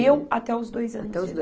Eu, até os dois anos. Até os dois